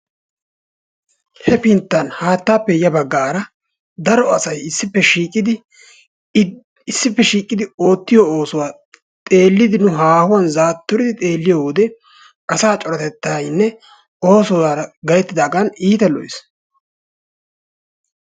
Hefinttan haattaappe ya baggaara daro asay issippe shiiqidi oottiyo oosuwa xeellidi nu zaatturidi xeelliyo wode asaa coratettaynne oosuwara gayttidaagan keehippe lo'ees.